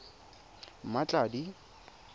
mmatladi